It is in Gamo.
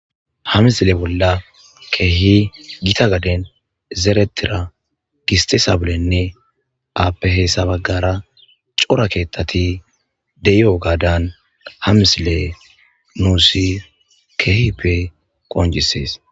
ha misile bolla keehi gita gaden zeretira gistisabulenne aapehessabaggara cora keettati deyoo gaadan ha misile nuusi kehipe qonjisees